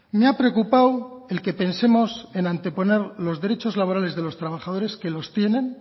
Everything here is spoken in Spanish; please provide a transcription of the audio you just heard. me ha preocupado el que pensemos en anteponer los derechos laborales de los trabajadores que los tienen